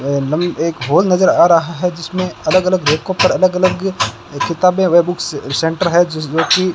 ये एकदम एक हॉल नजर आ रहा हैं जिसमें अलग अलग रैंको पर अलग अलग किताबें वे बुक्स सेंटर हैं ज जोकि --